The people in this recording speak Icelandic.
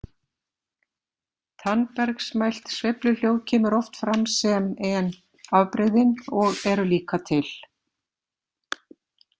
Tannbergsmælt sveifluhljóð kemur oft fram sem en afbrigðin og eru líka til.